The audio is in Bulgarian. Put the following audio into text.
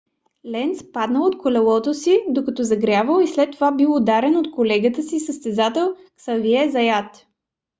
ленц паднал от колелото си докато загрявал и след това бил ударен от колегата си състезател ксавие заят